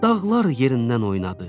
Dağlar yerindən oynadı.